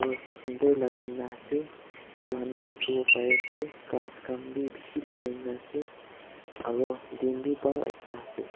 sundor lagai na ase itu khan bi dikhiwo pari ase ghas khan bi bishi lagai na ase aru din bi buhal ekta ase.